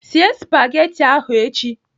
Sie spagati ahụ echi!